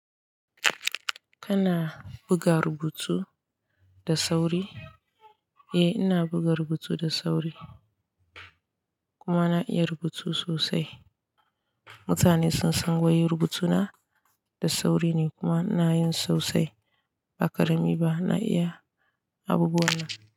Kana buga rubutu da sauri? Eh ina buga rubutu da sauri, kuma na iya rubutu sosai. Mutane sun san wai rubutuna da sauri ne kuma ina yin sosai. Ba ƙarami ba, na iya abubuwa na.